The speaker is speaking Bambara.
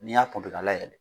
Ni y'a ka layɛlɛ